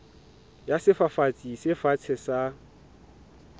ya sefafatsi se fatshe sa